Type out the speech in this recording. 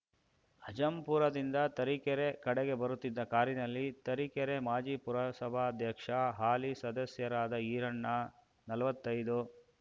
ಅಜ್ಜಂಪುರದಿಂದ ತರೀಕೆರೆ ಕಡೆಗೆ ಬರುತ್ತಿದ್ದ ಕಾರಿನಲ್ಲಿ ತರೀಕೆರೆ ಮಾಜಿ ಪುರಸಭಾಧ್ಯಕ್ಷ ಹಾಲಿ ಸದಸ್ಯರಾದ ಈರಣ್ಣ ನಲವತ್ತೈದು